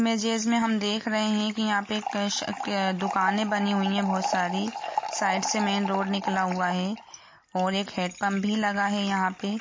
Image है इसमे हम देख रहे है की यहाँ पे दुकाने बनी हुई है बहुत सारे साइड से मैन रोड निकला हुआ है और एक हेड पम्प भी लगा है यहाँ पे।